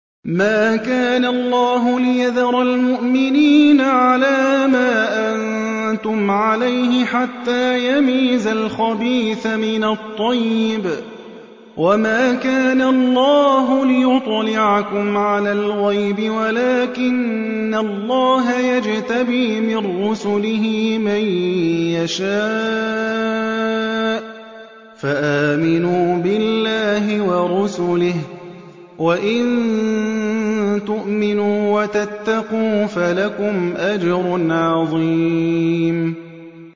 مَّا كَانَ اللَّهُ لِيَذَرَ الْمُؤْمِنِينَ عَلَىٰ مَا أَنتُمْ عَلَيْهِ حَتَّىٰ يَمِيزَ الْخَبِيثَ مِنَ الطَّيِّبِ ۗ وَمَا كَانَ اللَّهُ لِيُطْلِعَكُمْ عَلَى الْغَيْبِ وَلَٰكِنَّ اللَّهَ يَجْتَبِي مِن رُّسُلِهِ مَن يَشَاءُ ۖ فَآمِنُوا بِاللَّهِ وَرُسُلِهِ ۚ وَإِن تُؤْمِنُوا وَتَتَّقُوا فَلَكُمْ أَجْرٌ عَظِيمٌ